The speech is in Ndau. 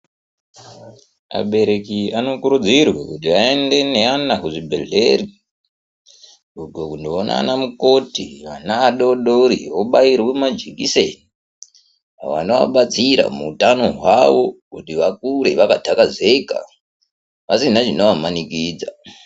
Abereki anokurudzirwe kuti aende neana kuzvibhehleya kundoona anamukoti ana adodori obairwe majekiseni anovabatsira muutano hwavo kuti vakure vakatakazeka vasina chinovamanikidza